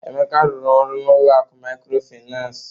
Emeka rụrụ ọrụ n'ụlọ akụ mikrofinas.